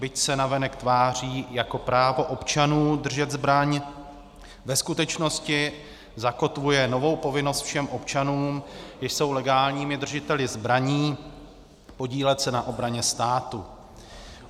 Byť se navenek tváří jako právo občanů držet zbraň, ve skutečnosti zakotvuje novou povinnost všech občanům, když jsou legálními držiteli zbraní, podílet se na obraně státu.